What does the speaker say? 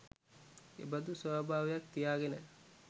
එබඳු ස්වභාවයක් තියාගෙන,